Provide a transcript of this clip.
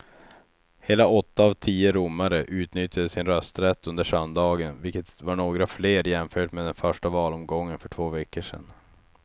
Hela åtta av tio romare utnyttjade sin rösträtt under söndagen, vilket var några fler jämfört med den första valomgången för två veckor sedan.